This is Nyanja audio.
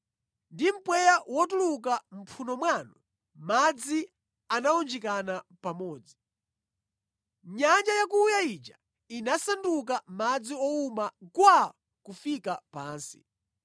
Ndi mpweya wotuluka mʼmphuno mwanu madzi anawunjikana pamodzi. Nyanja yakuya ija inasanduka madzi owuma gwaa kufika pansi.